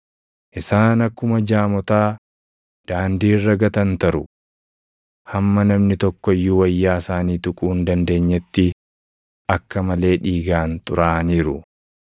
Isaan akkuma jaamotaa daandii irra gatantaru. Hamma namni tokko iyyuu wayyaa isaanii tuquu hin dandeenyetti akka malee dhiigaan xuraaʼaniiru.